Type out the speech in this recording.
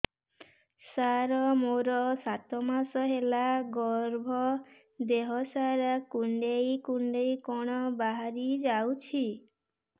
ସାର ମୋର ସାତ ମାସ ହେଲା ଗର୍ଭ ଦେହ ସାରା କୁଂଡେଇ କୁଂଡେଇ କଣ ବାହାରି ଯାଉଛି